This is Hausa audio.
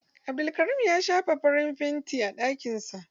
Abdulkarim ya shafa farin fanti a ɗakin sa.